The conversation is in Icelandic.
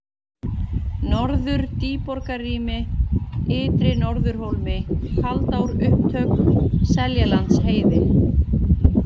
Norður-Dýborgarmýri, Ytri-Norðurhólmi, Kaldárupptök, Seljalandsheiði